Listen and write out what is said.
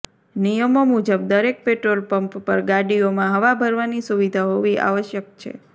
નિયમો મુજબ દરેક પેટ્રોલ પંપ પર ગાડીઓમાં હવા ભરવાની સુવિધા હોવી આવશ્યક છે